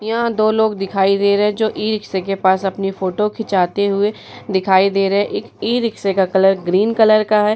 यहाँ दो लोग दिखाई दे रहे है जो इ-रिक्सा के पास अपनी फोटो खींचते हुए दिखाई दे रहे है। इस इ-रिक्सा का कलर ग्रीन कलर का है।